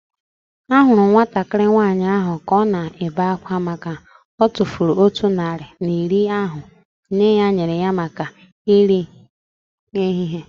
Ahụrụ m nwatakịrị nwaanyị ahu ka ọ na-ebe akwa makana otufuru otu narị naira na iri ahu nne ya nyere ya maka nri ehihie